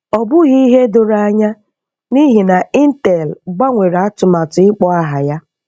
Ọ bụghị ihe doro anya n’ihi na Intel gbanwere atụmatụ ịkpọ aha ya.